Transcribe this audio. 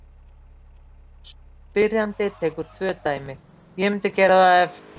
Spyrjandi tekur tvö dæmi: Ég mundi gera það ef.